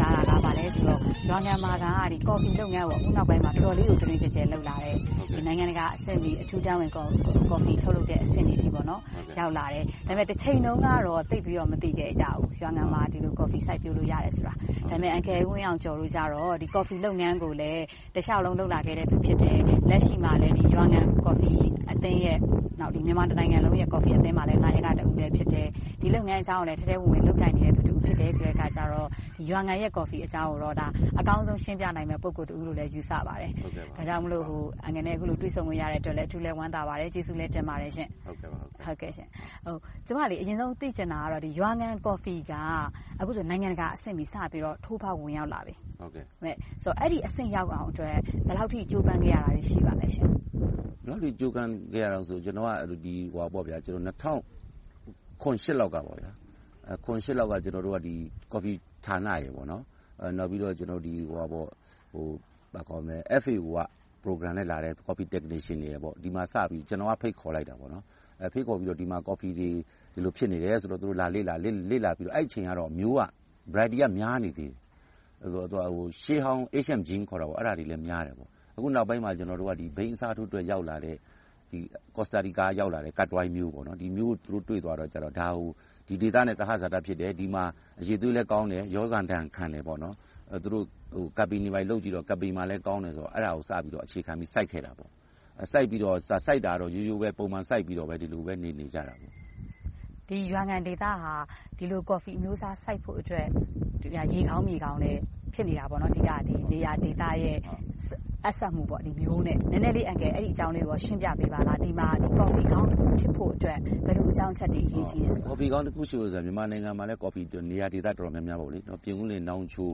စားတာက ဘာလဲဆိုတော့ ရွာငံမှာ အခုနောက်ပိုင်းမှာ ကော်ဖီလုပ်ငန်းကို အတော်လေး တွင်တွင်ကျယ်ကျယ် လုပ်လာတယ်။ နိုင်ငံတကာအဆင့်မီ ကော်ဖီထုတ်လုပ်တဲ့အဆင့်အထိ ရောက်လာတယ်။ ဒါပေမဲ့ တချိန်တုန်းကတော့ သိပ်ပြီးတော့ မသိခဲ့ကြဘူး။ ရွာငံမှာ ဒီလိုကော်ဖီ စိုက်ပျိုးလို့ရတယ်ဆိုတာ။ ဒါပေမဲ့ အန်ကယ်တို့ကြတော့ ကော်ဖီလုပ်ငန်းကို တလျှောက်လုံး လုပ်လာကြတယ်။ လက်ရှိမှာလဲ ရွာငံကော်ဖီအသင်းနဲ့ မြန်မာနိုင်ငံကော်ဖီအသင်းမှာလည်း နာယက ဖြစ်တယ်။ ဒီလုပ်ငန်းအကြောင်းကိုလည်း ထဲထဲဝင်ဝင် လုပ်ကိုင်နေသူလည်းဖြစ်တော့ ရွာငံရဲ့ ကော်ဖီအကြောင်းကို အကောင်းဆုံးရှင်းပြနိုင်မယ့် ပုဂ္ဂိုလ်တဦးလို့လည်း ယူဆပါတယ်။ ဒါကြောင့် အန်ကယ်နဲ့ အခုလိုတွေ့ဆုံခွင့်ရလို့လည်း အထူးဝမ်းသာပါတယ်။ ကျေးဇူးလည်းတင်ပါတယ်။ ကျမ အရင်ဆုံး သိချင်တာကတော့ ရွာငံကော်ဖီက အခုဆိုရင် နိုင်ငံတကာအဆင့်မီ စတင်ပြီးထိုးဖောက်ဝင်ရောက်လာပြီ။ အဲဒီအဆင့်ရောက်အောင် ဘယ်လောက်အထိ ကြိုးပမ်းခဲ့ရတာတွေ ရှိပါလဲ။ ကျနော်က ၂၀၀၇-၈ လောက်က ကော်ဖီဌာနနဲ့ FAO က Program နဲ့လာတဲ့ Coffee Technician တို့ကို ကျနော်က ဖိတ်ခေါ်ပြီးတော့ ဒီမှာ ကော်ဖီတွေ ဒီလိုဖြစ်နေတာကို လာလေ့လာခဲ့ကြတယ်။ အဲဒီအချိန်တုန်းက ကော်ဖီက မျိုးစုံနေသေးတယ်။ ရှေးဟောင်း Ancient Beans တွေလည်း များနေသေးတယ်။ အခုနောက်ပိုင်းမှာ ဘိန်းအစားထိုးအတွက် ရောက်လာတဲ့ Corsica က…မျိုးကို တွေ့သွားတဲ့အခါကြတော့ ဒီမျိုးက ဒီဒေသနဲ့ သဟဇာတဖြစ်တယ်။ ဒီမှာ အရည်အသွေးလည်းကောင်းတယ်။ ရောဂါဒဏ်ခံတယ်။ သူတို့.. တွေလုပ်ပြီးတော့ ကောင်းတယ်ဆိုကာ အဲဒါကို အခြေခံပြီးတော့ စိုက်ခဲ့တယ်။ စိုက်တာကတော့ ရိုးရိုးပဲ ပုံမှန်စိုက်ပြီးတော့ ဒီလိုပဲ နေနေကြတယ်။ ဒီရွာငံဒေသဟာ ဒီလိုကော်ဖီအမျိုးအစား စိုက်ဖို့အတွက် မြေကောင်းရေကောင်းလည်း ဖြစ်နေတာပေါ့။ ဒီဒေသနဲ့ ကော်ဖီမျိုး ဆက်စပ်မှု - နည်းနည်းလေး အဲဒီအကြောင်းကို ရှင်းပြပေးပါ - ဒီမှာ ကော်ဖီကောင်း ဖြစ်ဖို့အတွက် ဘယ်လိုအကြောင်းအချက်တွေ အရေးကြီးပါလဲ။ ကော်ဖီကောင်းတခု ဖြစ်ဖို့အတွက်ဆိုတာ မြန်မာနိုင်ငံမှာလည်း နေရာဒေသအတော်များများ ပြင်ဦးလွင်၊ နောင်ချို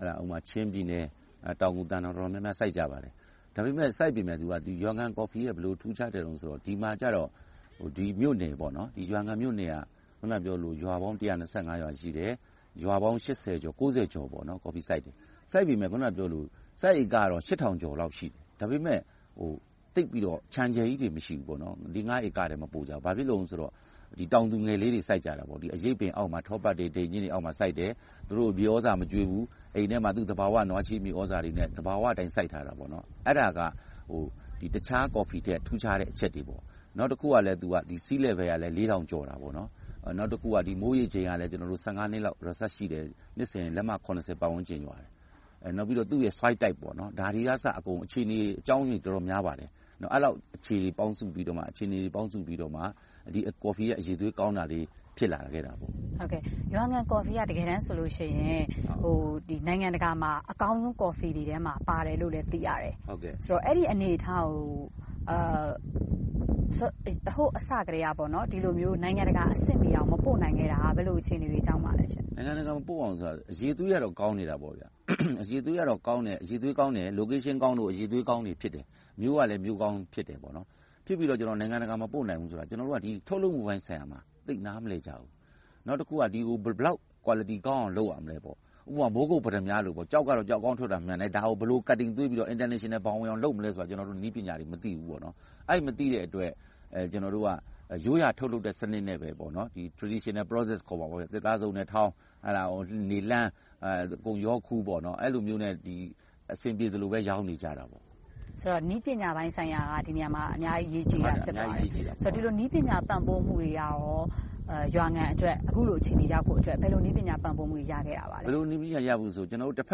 ၊ ချင်းပြည်နယ်၊ တောင်ငူ၊ သံတောင် တော်တော်များများမှာ စိုက်ကြပါတယ်။ ဒါပေမဲ့ စိုက်ပေမယ့် ရွာငံကော်ဖီရဲ့ ဘယ်လိုထူးခြားျက်လဲဆိုတော့ ဒီမှာကြတော့ ရွာငံမြို့နယ်က အခုနပြောသလို ရွာပေါင်း ရွာရှိတယ်။ ရွာပေါင်း ကျော်က ကော်ဖီစိုက်တယ်။ စိုက်ပေမယ့် စိုက်ဧကက ကျော်လောက် ရှိတယ်။ ဒါပေမဲ့ သိပ်ပြီးတော့ ခြံအကျယ်ကြီးတွေ မရှိဘူး။ လေးငါးဧကထက် မပိုကြပါဘူး။ ဘာဖြစ်လို့လဲဆိုတော့ တောင်သူငယ်လေးတွေ စိုက်ကြတာ။ အရိပ်ပင်အောက်မှာ ထောပတ်၊… အောက်မှာစိုက်တယ်။ သူတို့ကို မြေသြဇာ မကျွေးဘူး။ အိမ်ထဲမှာ သဘာဝနွားချေး မြေသြဇာတွေနဲ့ သဘာဝအတိုင်း စိုက်ကြတယ်။ အဲဒါက တခြားကော်ဖီထက် ထူးခြားတဲ့အချက်တွေ။ နောက်တခုက ဒီမှာက Sea Level လေးထောင်ကျော်တယ်။ မိုးရေချိန်လည်း ကျနော်တို့ နှစ်လောက် Resarch ရှိတယ်။ နှစ်စဉ် လက်မ ပတ်ဝန်းကျင်လောက် ရှိတယ်။ နောက်တခုက Soil type က ဒါတွေကအစ အခြေအနေအကြောင်းတွေ အတော်များပါတယ်။ အဲဒီလောက် အခြေအနေတွေ ပေါင်းစုပြီးတော့မှ ဒီကော်ဖီရဲ့ အရည်အသွေး ကောင်းတာလေးတွေ ဖြစ်လာခဲ့တယ်။ ရွာငံကော်ဖီက တကယ်တမ်းဆိုရင် နိုင်ငံတကာမှာ အကောင်းဆုံးကော်ဖီတွေထဲမှာလည်း ပါတယ်လို့ သိရတယ်။ အဲဒီအနေအထားကို အစကတည်းက ဒီလိုမျိုး နိုင်ငံတကာအဆင့်မီအောင် မပို့နိုင်ခဲ့တာ ဘယ်လိုအခြေအနေတွေကြောင့်လဲ။ နိုင်ငံတကာ မပို့တာ အရည်အသွေးကတော့ ကောင်းနေတယ်။ Location ကောင်းလို့ အရည်အသွေးကောင်းတယ်။ နေရာဒေသကောင်းလို့ အရည်အသွေးကောင်းတွေ ဖြစ်တယ်။ မျိုးကလည်း မျိုးးကောင်းဖြစ်တယ်။ ဖြစ်ပြီးနောက် နိုင်ငံတကာ မပို့နိုင်ဘူးဆိုတာ။ ကျနော်တို့က ထုတ်လုပ်မှုပိုင်းဆိုင်ရာမှာ သိပ်နားမလည်ကြဘူး။ နောက်တခုက ဘယ်လောက် အရည်အသွေး ကောင်းအောင် လုပ်ရမလဲပေါ့။ ဥပမာ မိုးကုတ်ပတ္တမြားတွေလို၊ ကျောက်ကတော့ ကျောက်ကောင်းထွက်တာ မှန်တယ်။ ဒါကို ဘယ်လို cutting သွေးပြီးတော့ နိုင်ငံတကာဘောင်ကို ဘယ်လိုဝင်အောင် လုပ်မလဲဆိုတာကို ကျနော်တို့ ဘယ်လိုလုပ်မလဲဆိုတာကို မသိဘူး။ အဲဒီလို မသိတဲ့အတွက် ကျနော်တို့က ရိုးရာထုတ်လုပ်တဲ့ စနစ်နဲ့ပဲ Traditional Process ခေါ်တယ် - သစ်သားစုံနဲ့ထောင်း၊ နေလှန်း၊ အကုန်ရောခူး - အဲဒီလိုမျိုးနဲ့ အဆင်ပြေသလိုပဲ ရောင်းနေကြတယ်။ နည်းပညာပိုင်းဆိုင်ရာက ဒီနေရာမှာ အများကြီး အရေးကြီးတယ်။ ဒီလို နည်းပညာပံ့ပိုးမှုတွေက ရွာငံအတွက် အခုလို အခြေအနေမျိုးရောက်ဖို့အတွက် ဘယ်လိုနည်းပညာပံ့ပိုးမှုတွေ ရခဲ့ပါလဲ။ ဘယ်လိုနည်းပညာတွေ ရသလဲဆို တဘ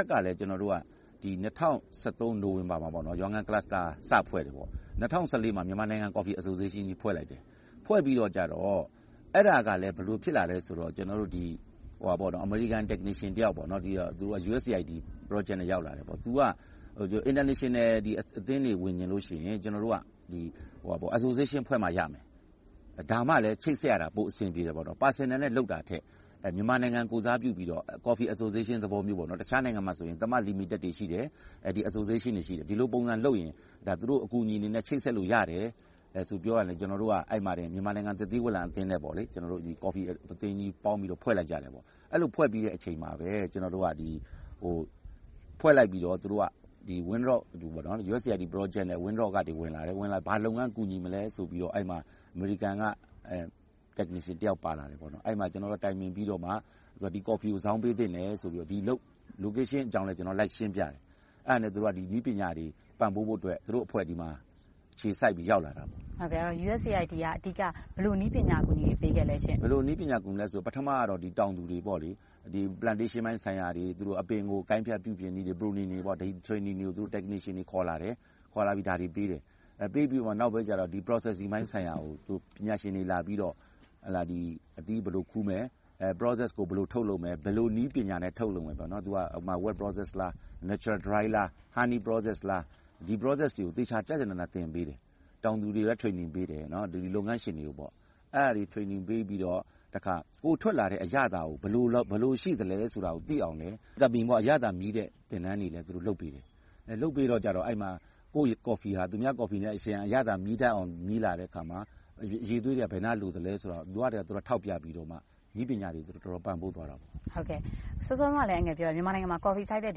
က်ကလဲ ကျနော်တို့က ၂၀၁၃ နိုဝင်ဘာမှာ ရွာငံအသင်း စဖွဲ့တယ်။ ၂၀၁၄ မှာ မြန်မာနိုင်ငံကော်ဖီအသင်းကြီး ဖွဲ့လိုက်တယ်။ ဖွဲ့ပြီးတော့ အဲဒါက ဘယ်လိုဖြစ်လာလဲဆိုတော့ အမေရိကန် Technician တယောက်က USAID Project နဲ့ ရောက်လာတယ်။ သူက International အသင်းတွေဝင်ချင်ရင် ကျနော်တို့က Association အသင်းတွေဖွဲ့မှရမယ်။ ဒါမှလဲ ချိတ်ဆက်ရတာလွယ်တယ်။ Personal အနေနဲ့ လုပ်တာထက်၊ မြန်မာနိုင်ငံ ကိုယ်စားပြုပြီးတော့ Coffee Association သဘောမျိုး တခြားနိုင်ငံတွေမှာဆို လီမီတက်တွေ ရှိတယ်။ Association တွေရှိတယ်။ ဒီလိုပုံစံလုပ်ရင် သူတို့အကူအညီတွေနဲ့ ချိတ်ဆက်ပြီး လုပ်လို့ရတယ်။ သူ အဲဒီလိုပြောတာနဲ့ ကျနော်တို့ မြန်မာနိုင်ငံ သစ်သီဝလံအသင်းနဲ့ ကော်ဖီအသင်းကြီးတို့ ပေါင်းပြီးတော့ ဖွဲ့လိုက်ကြတယ်။ အဲဒီလို ဖွဲ့ပြီးတဲ့အချိန်မှာပဲ ကျနော်တို့က ဖွဲ့လိုက်ပြီးတော့ USAID Project နဲ့… ဝင်လာတယ်။ ဝင်လာပြီးနောက် ဘာလုပ်ငန်း အကူအညီပေးမလဲဆိုပြီးတော့ အဲဒီမှာ အမေရိကန်က အတတ်ပညာရှင်တဦးပါလာယ်။ အဲဒီမှာ ကျနော်တို့ တိုင်ပင်ပြီးတော့မှ ဒီကော်ဖီကို ဇောင်းပေးသင့်တယ်ဆိုပြီးတော့ Location အပြောင်းအလဲကို လိုက်ရှင်းပြတယ်။ အဲဒါနဲ့ သူတို့က နည်းပညာတွေ ပံ့ပိုးဖို့အတွက် သူတို့အဖွဲ့အစည်းမှာ အခြေစိုက်ပြီးတော့ ရောက်လာပါတယ်။ USAID က အဓိက ဘယ်လိုနည်းပညာတွေ ထောက်ပံ့ကူညီခဲ့ပါလဲ။ ပထမ တောင်သူတွေ - Plantation ပိုင်ဆိုင်ရာတွေ အပင်ကို ကိုင်းဖြတ်ပြီး… ပထမတော့ တောင်သူတွေ plantation ဆိုင်ရာတွေ အပင်ကို ကိုင်းဖြတ်ပြုပြင်နည်းတွေ training တွေကို သူတို့ခေါ်လာတဲ့ technician နဲ့ သင်ကြားပို့ချတယ်။ ပေးပြီးတော့ နောက်ပိုင်းကြတော့ Processing ဆိုင်ရာကို ပညာရှင်တွေက အသီးကို ဘယ်လိုခူးမလဲ။ ဘယ်လိုထုတ်လုပ်မလဲ။ ဘယ်လိုနည်းပညာနဲ့ ထုတ်လုပ်မယ် - Wet Process လား။ Natural Dry Process လား။ Handy Process လား။ ဒီထုတ်လုပ်မှုအဆင့်တွေကို သေချာကျကျနန သင်ပေးတယ်။ တောင်သူတွေကို သင်တန်းပေးတယ်။ လုပ်ငန်းရှင်တွေကိုလည်း သင်တန်းပေးတယ်။ အဲဒါတွေပေးပြီးနောက် ထွက်ရှိလာတဲ့ အရသာကို ဘယ်လိုရှိသလဲဆိုတာကိုသိအောင် အရသာမြည်းတဲ့ သင်တန်းတွေလည်း သူတို့ပေးတယ်။ လုပ်ပေးတော့ ကိုယ့်ကော်ဖီက သူများကော်ဖီနဲ့ ယှဉ်ပြီး အရသာမြည်းတတ်အောင် မြည်းလာတဲ့အခါမှာ အရည်အသွေးတွေ ဘယ်နားလိုသလဲဆိုတာကို ထောက်ပြပြီးတော့မှ နည်းပညာတွေ တော်တော်လေး ပံ့ပိုးသွားပါတယ်။ စောစောက အန်ကယ်ပြောသွားတယ် မြန်မာနိုင်ငံမှာ ကော်ဖီစိုက်တဲ့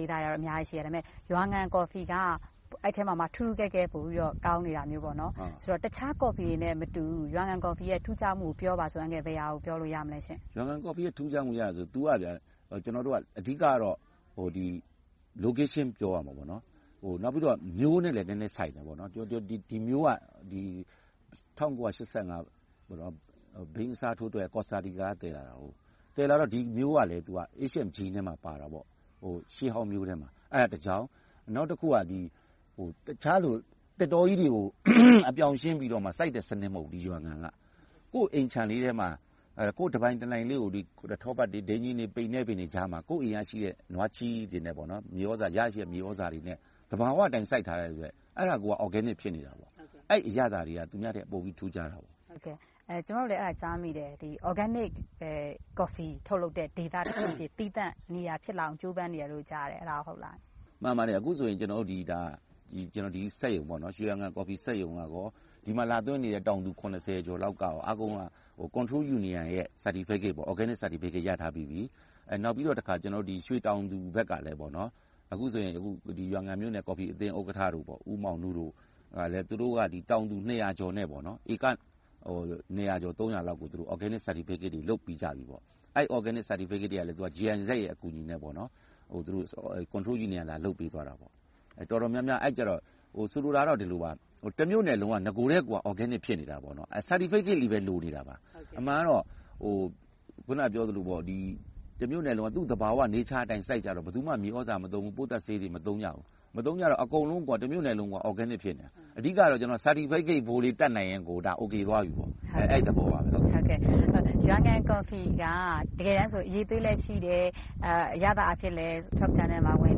ဒေသတွေ အများကြီးရှိတယ်။ ဒါပေမဲ့ ရွာငံကော်ဖီက အဲဒီအားလုံးထဲမှာမှ ထူးထူးကဲကဲ ပိုပြီးတော့ ကောင်းနေတာမျိုး။ တခြားကော်ဖီတွေနဲ့ မတူတဲ့ ရွာငံကော်ဖီရဲ့ ထူးခြားမှုကို ပြောပါဆိုရင် ဘယ်ဟာကို ပြောလို့ရမလဲ။ ရွာငံကော်ဖီရဲ့ ထူးခြားမှုကို ပြောမယ်ဆိုရင် အဓိကတော့ Location ပြောရမယ်။ နောက်ပြီးတော့ မျိုးနဲ့လည်း နည်းနည်းဆိုင်တယ်။ ဒီမျိုးက ၁၉၈၅ ဘိန်းအစားထိုးဖိုးအတွက် ကော်စတာတီကာ က သယ်လာတာ။ သယ်လာတော့ ဒီမျိုးကလည်း Asian gene ထဲမှာ ပါတယ်။ ရှေးဟောင်းမျိုးထဲမှာ။ အဲဒါကတခု။ နောက်တခုက သစ်တောကြီးတွေကို အပြောင်ရှင်းပြီးတော့ စိုက်တဲ့စနစ် မဟုတ်ဘူး။ ကိုယ့်အိမ်ခြံထဲမှာ ကိုယ်ပိုင်တပိုင်တနိုင်လေးကို ထောပတ်၊ ပိနဲ္နပင်တွေကြားမှာ ကိုယ်အိမ်မှာရှိတဲ့ နွားချေးတွေနဲ့ သဘာဝမြေသြဇာတွေနဲ့ သဘာဝအတိုင်း စိုက်ထားတဲ့အတွက် Organic ဖြစ်နေတယ်။ အဲဒီအရသာတွေက သူများထက်ပိုပြီးတော့ ထူးခြားတယ်။ ကျမတို့လည်း အဲဒါကိုကြားမိတယ်။ Organic ပဲ ထုတ်လုပ်တဲ့ ဒေသ၊ သီးသန့်နေရာ ဖြစ်လာအောင် ကြိုးပမ်းနေတယ်လို့ ကြားမိတယ်။ အဲဒါ ဟုတ်ပါသလား။ မှန်ပါတယ်။ အခုဆိုရင် ဒီကော်ဖီစက်ရုံနဲ့ ဒီမှာလာသွင်းနေတဲ့ တောင်သူ ကျော်လောက် အကုန်လုံးက Control Union ရဲ့ Organic Certificate ရထားပြီးပြီ။ နောက်ပြီးတော့ ရွှေတောင်သူဘက်ကလည်း အခုဆိုရင် ရွာငံမြို့နယ် ကော်ဖီအသင်းဥက္ကဋ္ဌ ဦးမောင်နုတို့ကလည်း တောင်သူ ကျော်နဲ့ ဧက နှစ်ရာကျော်၊ သုံးရာလောက်ကို Organic Certificate တွေ လုပ်ပေးကြပြီ။ အဲဒီ Organic Certificate တွေက GIZ ရဲ့ အကူအညီနဲ့ သူတို့ Control Union လာလုပ်ပေးသွားတယ်။ ဆိုလိုတာကတော့ တမြို့နယ်လုံးက နဂိုကတည်းက Organic ဖြစ်နေတယ်။ Certificate ပဲ လိုနေတာပါ။ အမှန်ကတော့ အခုနပြောသလို တမြို့နယ်လုံးက သူ့သဘာဝ Nature အတိုင်း စိုက်ထားတော့ ဘယ်သူမှ မြေသြဇာမသုံး၊ ပိုးသတ်ဆေးတွေ မသုံးကြဘူး။ မသုံးကြတော့ အကုန်လုံး တမြို့နယ်လုံး Organic ဖြစ်နေတာ။ အဓိကတော့ Certificate ဖိုးလေး တတ်နိုင်ရင် အိုကေသွားပြီ။ အဲဒီသဘောပါ။ ရွာငံကော်ဖီက တကယ်တမ်းဆို အရည်အသွေးလည်းရှိတယ်။ အရသာအဖြစ်လည်း Top Ten ထဲမှာ ဝင်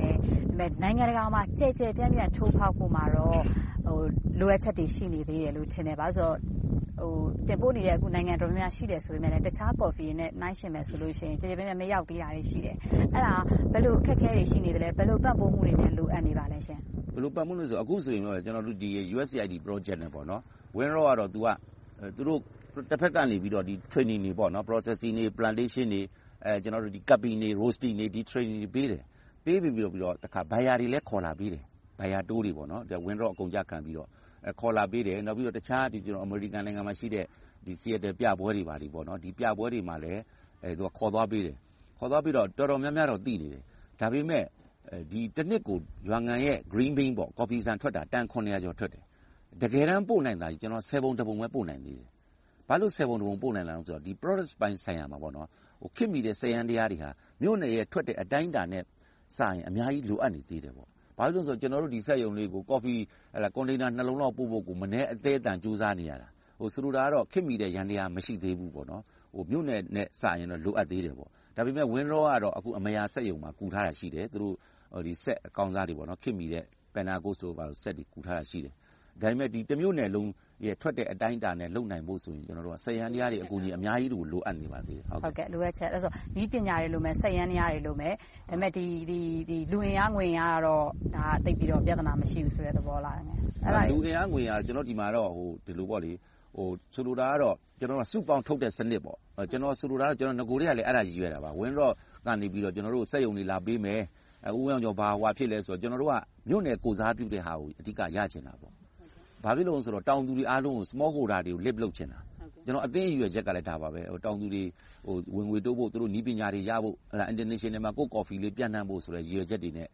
တယ်။ ဒါပေမဲ့ နိုင်ငံတကာမှာ ကျယ်ကျယ်ပြန့်ပြန့် ထိုးဖောက်ဖို့မှာတော့ လိုအပ်ချက်တွေ ရှိနေသေးတယ်လို့ ထင်တယ်။ ဘာဖြစ်လို့လဲဆိုတော့ တင်ပို့နေတဲ့ နိုင်ငံအတော်များများ ရှိနေတယ်ဆိုပေမယ့် တခြားကော်ဖီတွေနဲ့ နှိုင်းယှဉ်မယ်ဆိုရင် ကျယ်ကျယ်ပြန့်ပြန့် မရောက်သေးတာရှိတယ်။ အဲဒါ ဘယ်လို အခက်အခဲတွေ ရှိနေလဲ။ ဘယ်လိုပံ့ပိုးမှုတွေ လိုအပ်နေပါလဲ။ ဘယ်လိုပံ့ပိုးမှုတွေလဲဆိုတော့ အခုဆိုရင် USAID project နဲ့ပါ။ ဝင်လာတုန်းကတော့ သူတို့ Training တွေ၊ Processing တွေ၊ Plantation တွေ၊ Curbing တွေကို ပေးတယ်။ ပေးပြီးတော့ တခါ ဝယ်သူတွေလည်း အကုန်အကျခံပြီးတော့ ခေါ်လာပေးတယ်။ နောက်ပြီးတော့ တခြားအမေရိကန်နိုင်ငံမှာရှိတဲ့ ပြပွဲတွေကိုလည်း ခေါ်သွားပေးတယ်။ တော်တော်များများတော့ သိနေတယ်။ ဒါပေမဲ့ တနှစ်ကို ရွာငံရဲ့ ကော်ဖီဆံထွက်တာ တန် ကျော်ထွက်တယ်။ တကယ်တမ်း ပို့နိုင်တာ ဆယ်ပုံတစ်ပုံပဲ ပို့နိုင်သေးတယ်။ ဘာဖြစ်လို့ ဆယ်ပုံတစ်ပုံပဲ ပို့နိုင်လဲဆိုတော့ Product ပိုင်းဆိုင်ရာမှာ ခေတ်မီတဲ့ စက်ယန္တရားတွေက မြို့နယ်ရဲ့ထွက်တဲ့ အတိုင်းအတာထက်စာရင် အများကြီးလိုအပ်နေသေးတယ်။ ဘာဖြစ်လို့လဲဆိုတော့ ကျနော်တို့ ဒီစက်ရုံတွေကို ကော်ဖီ container နှစ်လုံးလောက် ပို့ဖို့ကို မနည်းအသဲအသန် ကြိုးစားနေရတယ်။ ဆိုလိုတာကတော့ ခေတ်မီတဲ့ ယန္တရား မရှိသေးဘူး။ မြို့နယ်နဲ့စာရင်တော့ လိုအပ်သေးတယ်။ ဒါပေမဲ့ Winrock ကတော့ အမရာစက်ရုံမှာ ကူထားတာရှိတယ်။ ခေတ်မီတဲ့ စက်အကောင်းစားတွေ ကူထားတာရှိတယ်။ ဒါပေမဲ့ တမြို့နယ်လုံးထွက်တဲ့ အတိုင်းအတာနဲ့ လုပ်နိုင်ဖို့ဆိုရင် စက်ယန္တရားတွေ အများကြီး လိုအပ်နေပါသေးတယ်။ နည်းပညာတွေလိုမယ်။ စက်ယန္တရားတွေ လိုမယ်။ ဒါပေမဲ့ လူအင်အား၊ ငွေအင်အားကတော့ သိပ်ပြီးတော့ ပြဿနာ မရှိဘူးဆိုတဲ့ သဘောလား။ လူအင်အား၊ ငွေအင်အားကတော့ ဒီမှာတော့ ဆိုလိုတာကတော့ စုပေါင်းထုတ်လုပ်တဲ့စနစ် - နဂိုကတည်းက အဲဒါကို ရည်ရွယ်ခဲ့တာပါ။ Winrock ကနေ ကျနော်တို့ကို စက်ရုံတွေ လာပေးမယ်။ ဘာဖြစ်လဲဆိုတော့ ကျနော်တို့က မြို့နယ်ကိုယ်စားပြုတဲ့ဟာကို အဓိကရချင်တာ။ ဘာဖြစ်လို့လဲဆိုတော့ တောင်သူတွေအားလုံး small holders တွေအားလုံးကို မြှင့်တင်ချင်တာ။ ကျနော်တို့ အသင်းရည်ရွယ်ချက်ကလည်း ဒါပါပဲ။ တောင်သူတွေ သူတို့ဝင်ငွေတိုးဖို့၊ နည်းပညာတွေရဖို့။ International နိုင်ငံတကာမှာ ကိုယ့်ကော်ဖီလေး ပျံ့နှံ့ဖို့ဆိုတဲ့ ရည်ရွယ်ချက်တွေနဲ့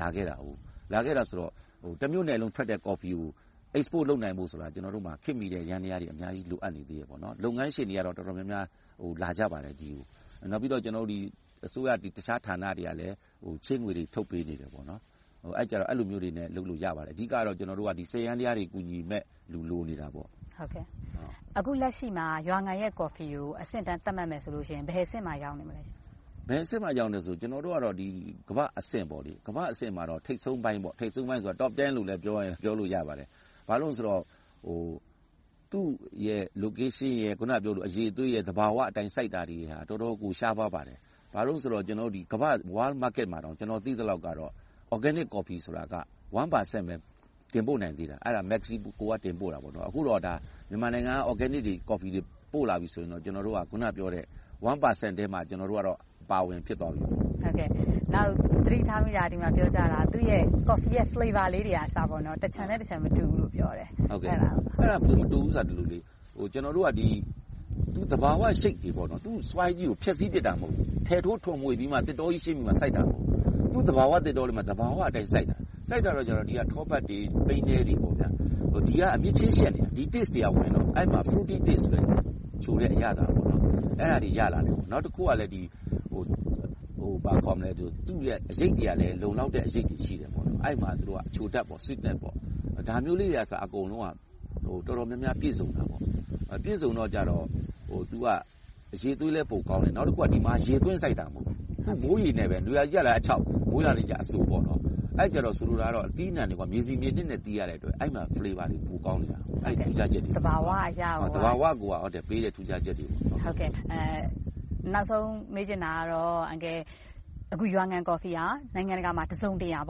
လုပ်လာခဲ့တာ။ အဲဒီတော့ တမြို့နယ်လုံးထွက်တဲ့ ကော်ဖီကို Export လုပ်နိုင်ဖို့ဆိုတာ ကျနော်တို့မှာ ခေတ်မီတဲ့ ယန္တရားတွေ အများကြီး လိုအပ်နေသေးတယ်။ လုပ်ငန်းရှင်တွေကတော့ တော်တော်များများ ဒီကိုလာကြပါတယ်။ နောက်ပြီးတော့ အစိုးရအခြားဌာနတွေကလည်း ချေးငွေတွေ ထုတ်ပေးနေတယ်။ အဲဒီကြတော့ အဲဒီလိုမျိုးတွေနဲ့ လုပ်လို့ရပါတယ်။ အဓိကတော့ စက်ယန္တရားတွေ ကူညီမယ့် လူလိုနေတာပါ။ အခုလက်ရှိမှာ ရွာငံရဲ့ ကော်ဖီကို အဆင့်တန်းသတ်မှတ်မယ်ဆိုရင် ဘယ်အဆင့်မှာ ရောက်နေပြီလဲ။ ဘယ်အဆင့်မှာ ရောက်နေပြီလဲဆိုတော့ ကျနော်တို့ကတော့ ကမ္ဘာ့အဆင့်မှာ ထိပ်ဆုံးပိုင်း Top Ten လို့လည်း ပြောမယ်ဆိုရင် ပြောလို့ရတယ်။ ဘာဖြစ်လို့လဲဆိုတော့ သူ့ရဲ့ Location အရည်အသွေးနဲ့ သဘာဝအတိုင်း စိုက်တာတွေဟာ တော်တော်ကို ရှားပါးပါတယ်။ ဘာဖြစ်လို့လဲဆိုတော့ ကမ္ဘာ့ဈေးကွက်မှာတောင် ကျနော်သိသလောက်တော့ Organic Coffee ဆိုတာက တစ်ရာခိုင်နှုန်းပဲ တင်ပို့နိုင်သေးတယ်။ အဲဒါ Mexico က တင်ပို့တာ။ အခုတော့ မြန်မာနိုင်ငံက Organic တွေ ကော်ဖီတွေ ပို့လာပြီဆိုရင်တော့ ကျနော်တို့က အခုနပြောတဲ့ တစ်ရာခိုင်နှုန်းထဲ အပါအဝင် ဖြစ်သွားပြီပေါ့။ နောက် သတိထားမိတာ ဒီမှာပြောကြတာ ကော်ဖီရဲ့ အရသာလေးတွေကအစ တခြံနဲ့တခြံ မတူဘူးလို့ပြောတယ်။ အဲဒါ မတူဘူးဆိုတာက ကျနော်တို့က သဘာဝ မြေဆီလွှာ Soil ကို ဖျက်ဆီးပြစ်တာ မဟုတ်ဘူး။ ထယ်ထိုးသစ်တောကြီး ရှင်းပြီးမှ စိုက်တာမဟုတ်ဘူး။ သူ့သဘာဝသစ်တောတွေမှာ သဘာဝအတိုင်း စိုက်ထားတာ။ စိုက်ထားတော့ ဒီမှာရှိတဲ့ ထောပတ်တွေ၊ ပိနဲ္နတွေက အမြစ်ချင်းဆက်နေတာ အဲဒီကနေ အရသာတွေဝင်ပြီး သစ်သီးအရသာ ချိုတဲ့အရသာတွေ ရလာတယ်။ နောက်တခုက လုံလောက်တဲ့ အရိပ်တွေလည်း ရရှိတယ်။ အဲဒီမှာ အချိုဓါတ်လည်းရတယ်။ ဒါမျိုးလေးတွေက အကုန်လုံး တော်တော်များများ ပြည့်စုံတယ်။ ပြည်စုံတော့ အရည်အသွေးလည်း ပိုကောင်းတယ်။ နောက်တခုက ဒီမှာ ရေသွင်းစိုက်တာ မဟုတ်ဘူး။ မိုးရေနဲ့ပဲ နွေရာသီမှာအခြောက်၊ မိုးရာသီမှာ အစို။ ဆိုလိုတာက အသီးအနံှတွေက မြေဆီမြေနှစ်နဲ့ သီးရတော့ အဲဒီမှာ အရသာတွေ ပိုကောင်းနေတယ်။ သဘာဝအရပေါ့။ သဘာဝကပေးတဲ့ ထူးခြားချက်တွေပါ။ နောက်ဆုံးမေးချင်တာကတော့ အန်ကယ် အခုရွာငံကော်ဖီက နိုင်ငံတကာမှာ တစုံတရာ